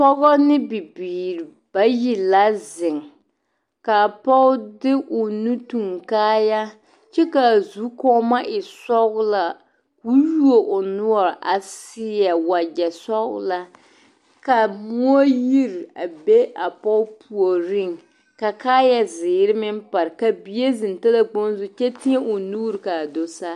Pɔge ne bibiiri bayi la zeŋ ka a pɔge de o nu tuŋ kaaya kyɛ ka a zukɔɔma e sɔglɔ ka o yuo o noɔre a seɛ wagyɛ sɔglaa ka moɔ yiri a be a pɔge puoriŋ ka kaaya zeere meŋ pare ka bie zeŋ talakpoŋ zu kyɛ teɛ o nuuri ka a do saa.